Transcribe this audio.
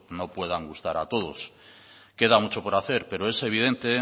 no puedan gustar a todos queda mucho por hacer pero es evidente